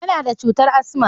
Yana da cutar asma.